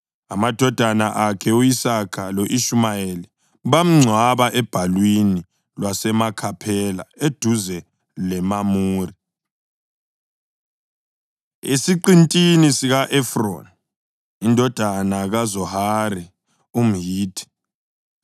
Amadodana akhe u-Isaka lo-Ishumayeli bamngcwaba ebhalwini lwaseMakhaphela eduze leMamure, esiqintini sika-Efroni indodana kaZohari umHithi,